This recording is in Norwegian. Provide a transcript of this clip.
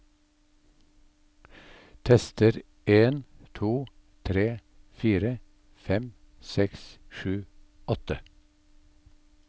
Tester en to tre fire fem seks sju åtte